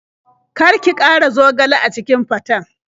Kar ki ƙara zogale a cikin faten.